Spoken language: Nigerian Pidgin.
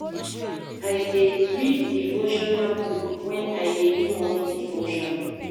I dey read devotional book wen I dey do morning devotion.